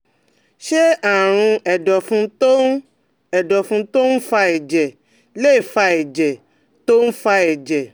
Ṣé àrùn ẹ̀dọ̀fun tó ń ẹ̀dọ̀fun tó ń fa ẹ̀jẹ̀ lè fa ẹ̀jẹ̀ tó ń fa ẹ̀jẹ̀?